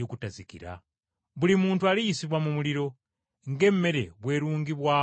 Buli muntu aliyisibwa mu muliro, ng’emmere bwerungibwamu omunnyo.”